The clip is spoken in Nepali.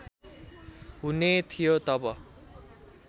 हुने थियो तब